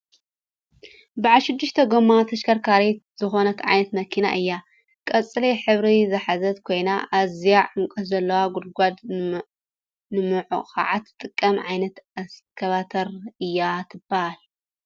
ብዓል ሽድሽተ ጎማ ተሽከርካሪት ዝኮነት ዓይነት መኪና እያ ።ቆፅሊ ሕበሪ ዝሓዘት ኮይና ኣዝዩ ዕምቆት ዘለዎ ጉድጎድ ንምኩዓት ትጠቅም ዓይነት እስካባተር እያ ትብሃል።